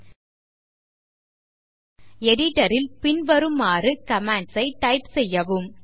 editor ல் பின்வருமாறு commands ஐ டைப் செய்யவும்